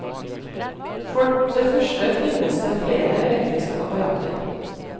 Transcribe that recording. For det første finnes det flere elektriske apparater.